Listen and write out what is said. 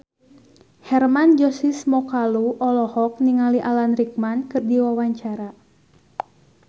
Hermann Josis Mokalu olohok ningali Alan Rickman keur diwawancara